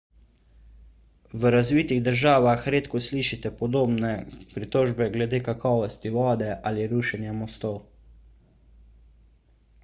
v razvitih državah redko slišite podobne pritožbe glede kakovosti vode ali rušenja mostov